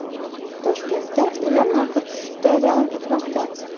Toshkentda uylar narxi tushishda davom etmoqda.